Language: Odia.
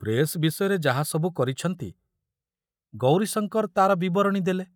ପ୍ରେସ ବିଷୟରେ ଯାହା ସବୁ କରିଛନ୍ତି, ଗୌରୀଶଙ୍କର ତାର ବିବରଣୀ ଦେଲେ।